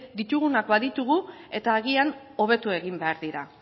ditugunak baditugu eta agian hobetu egin behar dira